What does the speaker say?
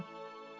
Soruşdu.